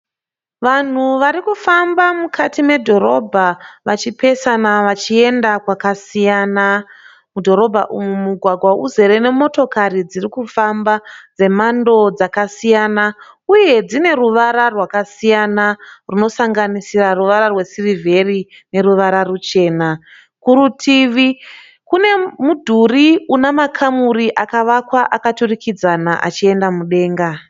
Vanhu varikufamba mukati medhorobha vachipesana vachienda kwakasiyana. Mudhorobha umu mugwagwa uzere nemotokari dzirikufamba dzemhando dzakasiyana uye dzine ruvara rwakasiyana rwunosanganisira ruvara rwesirivheri neruvara ruchena. Kurutivi kune mudhuri une makamuri akavakwa akaturikidzana achienda mudenga.